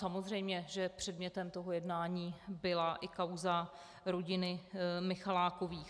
Samozřejmě že předmětem toho jednání byla i kauza rodiny Michalákových.